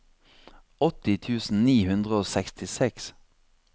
åtti tusen ni hundre og sekstiseks